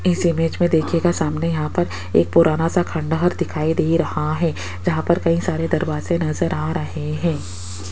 इस इमेज मे देखियेगा सामने यहां पर एक पुराना सा खंडहर दिखाई दे रहे है जहां पर कई सारे दरवाजे नज़र आ रहे हैं।